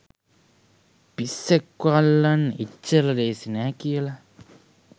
පිස්සෙක්ව අල්ලන්න එච්චර ලේසි නැ කියලා.